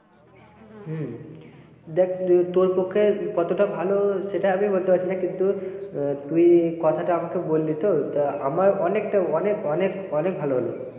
হম দেখ তোর পক্ষে কতটা ভালো সেটা আমিও বলতে পারছি না কিন্তু তুই কথাটা আমাকে বললি তো তো আমার অনেকটা অনেক অনেক অনেক ভালো হল।